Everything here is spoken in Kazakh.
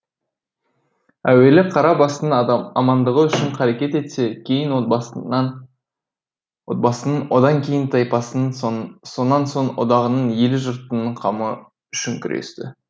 әуелі қара басының амандығы үшін қарекет етсе кейін отбасының одан кейін тайпасының сонан соң одағының елі жұртының қамы үшін күресті